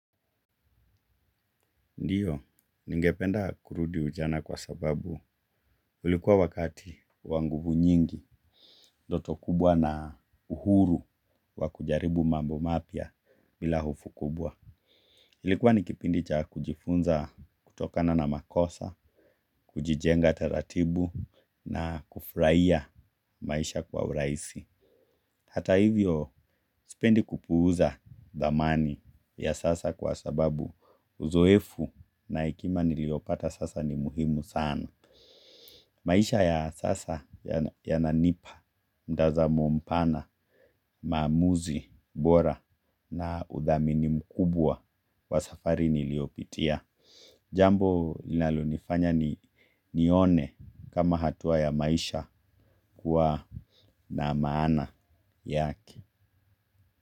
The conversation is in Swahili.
Ndiyo, ningependa kurudi ujana kwa sababu ulikuwa wakati wa nguvu nyingi ndoto kubwa na uhuru wa kujaribu mambo mapya bila hofu kubwa. Ilikuwa ni kipindi cha kujifunza kutokana na makosa, kujijenga taratibu na kufurahia maisha kwa urahisi. Hata hivyo, sipendi kupuuza dhamani ya sasa kwa sababu uzoefu na hekima niliyopata sasa ni muhimu sana. Maisha ya sasa yananipa mtazamo mpana, maamuzi bora na udhami mkubwa kwa safari niliyopitia. Jambo linalonifanya nione kama hatua ya maisha kuwa na maana yake.